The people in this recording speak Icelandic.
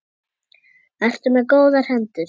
Ertu með góðar hendur?